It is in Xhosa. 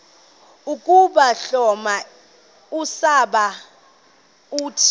ukuhloma usiba uthi